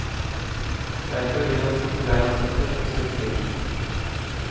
Derfor vil han sitte der han sitter en stund til.